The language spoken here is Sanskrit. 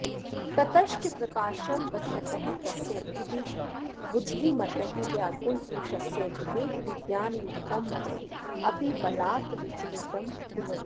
ततश्च प्रकाशं पश्यतः तस्य बुद्धिमतः व्याकुलपुरुषस्य विवेकविज्ञानयुक्तं मनः अपि बलात् विचलितं कुर्वन्ति